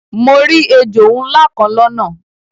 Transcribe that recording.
Mo ri èjò nlá kan lọ́nà